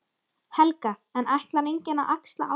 Helga: En ætlar enginn að axla ábyrgð?